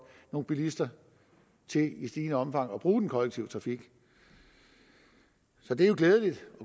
nogle bilister til i stigende omfang at bruge den kollektive trafik så det er jo glædeligt